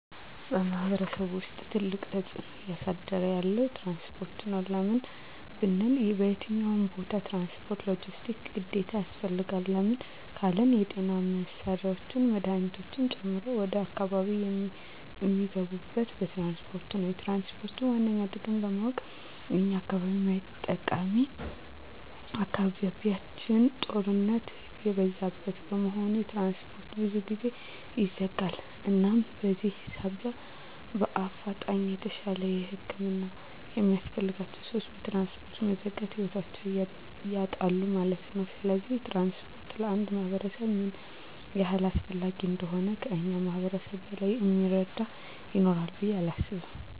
በማሕበረሰቡ ውስጥ ትልቅ ተፅዕኖ እያሳደረ ያለዉ ትራንስፖርት ነዉ። ለምን ብንል በየትኛዉም ቦታ ትራንስፖርት(ሎጀስቲክስ) ግዴታ ያስፈልጋል። ለምን ካልን የጤና መሳሪያወች መድሀኒቶችን ጨምሮ ወደ አካባቢያችን እሚገቡት በትራንስፖርት ነዉ። የትራንስፖርትን ዋነኛ ጥቅም ለማወቅ የኛን አካባቢ ማየት ጠቃሚ አካባቢያችን ጦርነት የበዛበት በመሆኑ ትራንስፖርት ብዙ ጊዜ ይዘጋል እናም በዚህ ሳቢያ በአፋጣኝ የተሻለ ህክምና የሚያስፈልጋቸዉ ሰወች በትራንስፖርት መዘጋት ህይወታቸዉን ያጣሉ ማለት ነዉ። ስለዚህ ትራንስፖርት ለአንድ ማህበረሰብ ምን ያህል አስፈላጊ እንደሆነ ከእኛ ማህበረሰብ በላይ እሚረዳ ይኖራል ብየ አላምንም።